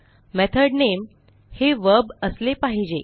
method नामे हे verb असले पाहिजे